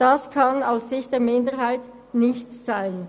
Das kann aus Sicht der Minderheit nicht sein!